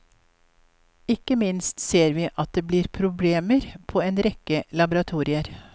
Ikke minst ser vi at det blir problemer på en rekke laboratorier.